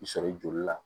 I sɔrɔ i joli la